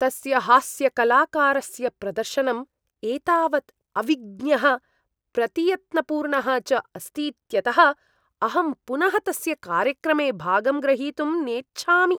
तस्य हास्यकलाकारस्य प्रदर्शनम् एतावत् अविज्ञः प्रतियत्नपूर्णः च अस्तीत्यतः अहं पुनः तस्य कार्यक्रमे भागं ग्रहीतुं नेच्छामि।